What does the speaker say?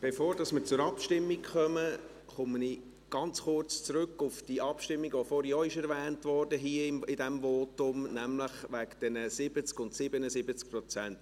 Bevor wir zur Abstimmung kommen, komme ich ganz kurz zurück auf die Abstimmung, die vorhin in diesem Votum auch erwähnt wurde, nämlich wegen diesen 70 und 77 Prozent: